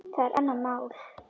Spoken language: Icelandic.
Það er annað mál.